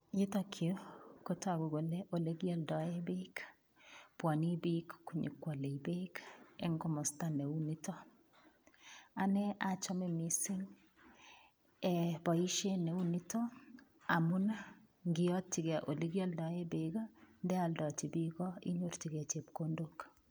Yutakyu kotagu kole ole kialdaei peek. Pwane piik konyukwale peek eng' komasta ne u nitok. Ane achame missing' poishet ne u niton amu ngiyatchigei ole kialdaei peeki, ndealdachi piik inyorchigei chepkondok.